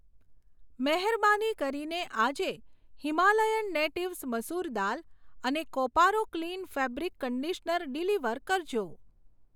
મહેરબાની કરીને આજે હિમાલયન નેટીવ્સ મસૂર દાલ અને કોપારો ક્લિન ફેબ્રિક કંડીશનર ડિલિવર કરજો.